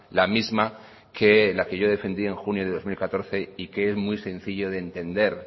la misma que la que yo defendí en junio de dos mil catorce y que es muy sencillo de entender